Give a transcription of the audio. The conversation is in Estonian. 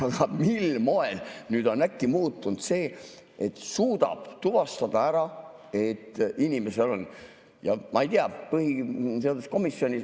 Aga mil moel nüüd on äkki muutunud see, et suudab ära tuvastada?